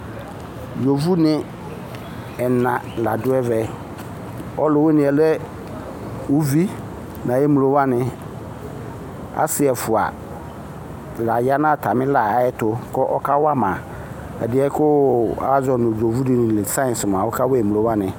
Yovoni ɛna la dʋ ɛvɛ Ɔlʋwini yɛ lɛ uvi n'ayemlo wani Asi ɛfua lã ya nʋ atamila yɛtʋ kʋ ɔkawama ɛdi yɛ kazɔ nu yovodi yɛli nʋ science ɔkawa emlo wani